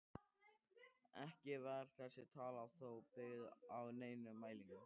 Ekki var þessi tala þó byggð á neinum mælingum.